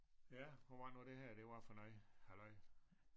Ja hvad var det nu det her det var for noget halløj